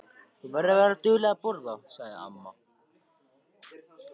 Þú verður að vera dugleg að borða, sagði amma.